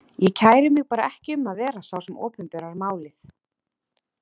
Ég kæri mig bara ekki um að vera sá sem opinberar málið.